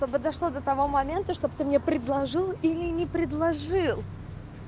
то бы дошло до того момента чтоб ты мне предложил или не предложил